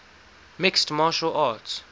mixed martial arts